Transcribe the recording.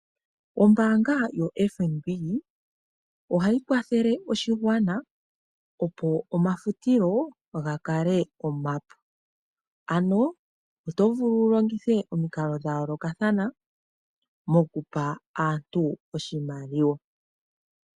Ombaanga yoFNB ohayi kwathele oshigwana opo omafutilo ga kale omapu, ano oto vulu wu longithe omikalo dha yoolokathana mokupa aantu oshimaliwa.